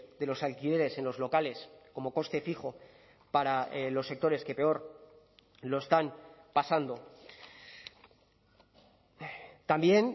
de los alquileres en los locales como coste fijo para los sectores que peor lo están pasando también